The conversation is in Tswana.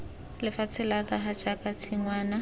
lefatshe la naga jaaka tshingwana